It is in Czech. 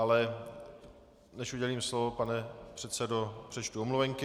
Ale než udělím slovo, pane předsedo, přečtu omluvenky.